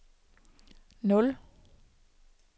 nul